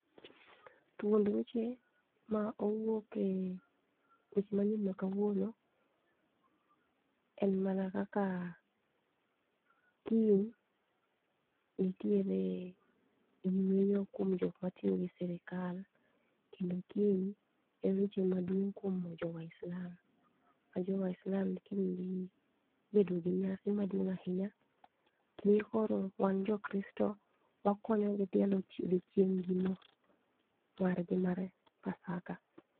Thuond weche ma owuok e weche manyien makawuono en mana kaka kiny nitiere yweyo kuom jok matiyo gi sirkal kendo kiny en odiochieng maduong kuom jowislam ma jo waislam kiny dhi bedo gi nyasi maduong ahinya. Miyo koro wan jo kristo wakonyo gi dhialo odiochieng gi no margi mar pasaka